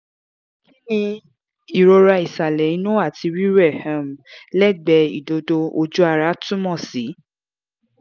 ki ni irora isale inu ati rirẹ um legbe idodo/oju ara túmọ̀ sí?